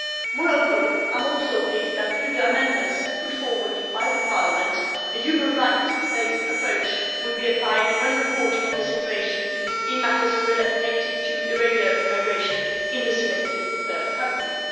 Moreover, I am also pleased that, through the amendments put forward by Parliament, a human rights based approach will be applied when reporting on the situation in matters related to irregular immigration in the selected third countries.